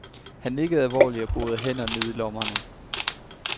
Han nikkede alvorligt og borede hænderne ned i lommerne.